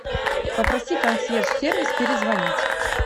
попроси консьерж сервис перезвонить